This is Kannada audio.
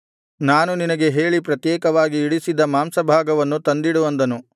ನಾನು ನಿನಗೆ ಹೇಳಿ ಪ್ರತ್ಯೇಕವಾಗಿ ಇಡಿಸಿದ್ದ ಮಾಂಸಭಾಗವನ್ನು ತಂದಿಡು ಅಂದನು